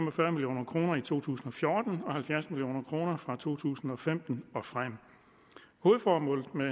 og fyrre million kroner i to tusind og fjorten og halvfjerds million kroner fra to tusind og femten og frem hovedformålet med